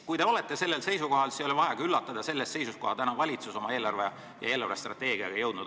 Kui te olete sellel seisukohal, siis ei olegi vaja ka üllatuda sellest seisust, kuhu valitsus on nüüdseks oma eelarve ja eelarvestrateegiaga jõudnud.